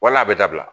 Wala a bɛ dabila